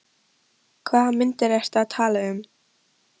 Hvaða myndir ertu að tala um?